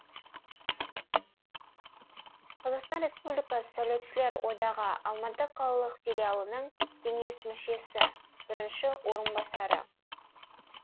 қазақстан республикасы сәулетшілер одағы алматы қалалық филиалының кеңес мүшесі бірінші орынбасары